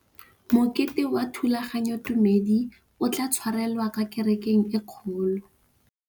Mokete wa thulaganyôtumêdi o tla tshwarelwa kwa kerekeng e kgolo.